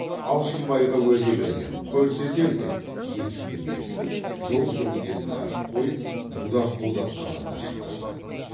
алшынбайға уәде бергем көрсетем деп есікті бекітіп жол сөмкесін ашып қойып будақ будақ қағаздар шығарды